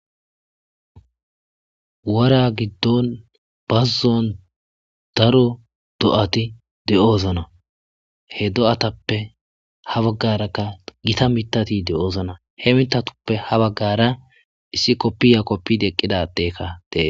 wara giddon bazuzon daro do7ati de7ozana he do7atappe ha baggarakka gita mitati de7ozana he mitatuppe ha baggara issi koppiya koppidi eqqidadeekka dee